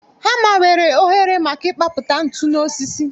Hama nwere oghere maka ịkpapụta ntu n'osisi